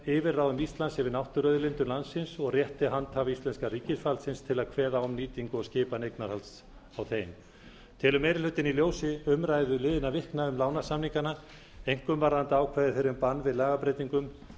yfirráðum íslands yfir náttúruauðlindum landsins og rétti handhafa íslensks ríkisvalds til að kveða á um nýtingu og skipan eignarhalds á þeim telur meiri hlutinn í ljósi umræðu liðinna vikna um lánasamningana einkum varðandi ákvæði þeirra um bann við lagabreytingum